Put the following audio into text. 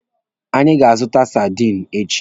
Anyị ga-azụta sadinu echi.